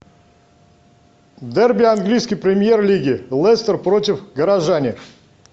дерби английской премьер лиги лестер против горожане